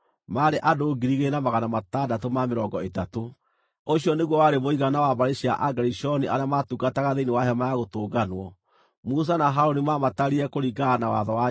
Ũcio nĩguo warĩ mũigana wa mbarĩ cia Agerishoni arĩa maatungataga thĩinĩ wa Hema-ya-Gũtũnganwo. Musa na Harũni maamatarire kũringana na watho wa Jehova.